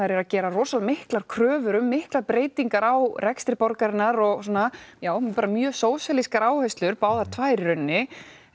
eru að gera miklar kröfur um miklar breytingar á rekstri borgarinnar og svona já bara mjög sósíalískar áherslur báðar tvær í rauninni